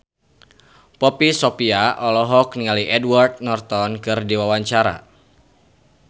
Poppy Sovia olohok ningali Edward Norton keur diwawancara